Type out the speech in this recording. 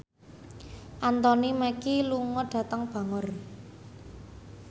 Anthony Mackie lunga dhateng Bangor